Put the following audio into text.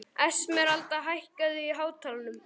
Esmeralda, hækkaðu í hátalaranum.